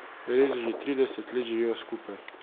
Res že trideset let živiva skupaj?